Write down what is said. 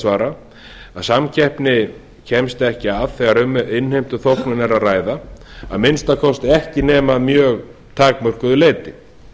svara að samkeppni kemst ekki að þegar um innheimtuþóknun er að ræða að minnsta kosti ekki nema að mjög takmörkuðu leyti